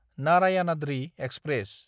Narayanadri express